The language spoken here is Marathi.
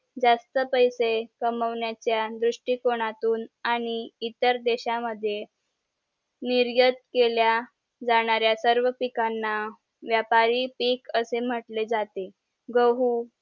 जास्त पैसे कमवण्याचा दृष्टी कोनातुन आणि इतर देश मद्ये निर्यात केल्या जाणाऱ्या सर्व पिकांना व्यापारी पीक असे म्हंटले जाते गहू